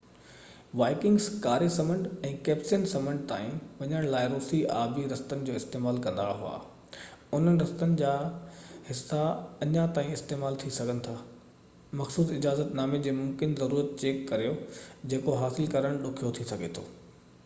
Vikings ڪاري سمنڊ ۽ Caspian سمنڊ تائين وڃڻ لاءِ روسي آبي رستن جو استعمال ڪندا هئا انهن رستن جا حصا اڃا تائين استعمال ٿي سگهن ٿا مخصوص اجازت نامن جي ممڪن ضرورت چيڪ ڪريو جيڪو حاصل ڪرڻ ڏکيو ٿي سگهي ٿو